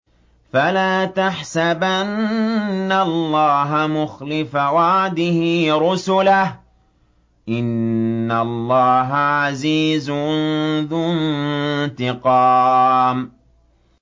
فَلَا تَحْسَبَنَّ اللَّهَ مُخْلِفَ وَعْدِهِ رُسُلَهُ ۗ إِنَّ اللَّهَ عَزِيزٌ ذُو انتِقَامٍ